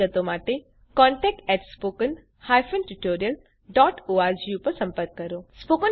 વધુ વિગત માટે કૃપા કરી contact at spoken hyphen tutorial dot org પર સંપર્ક કરો